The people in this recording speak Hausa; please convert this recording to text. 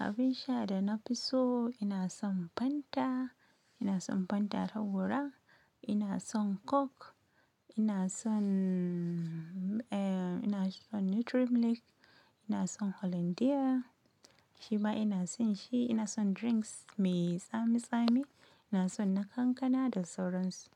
Abin sha da na fi so ina son Fanta, ina son Fanta ta gora, ina son Coke, ina son ina son Nutri Milk, ina son Hollandia, shima ina son shi, ina son drinks mai tsami tsami, ina son na kankana da sauran su.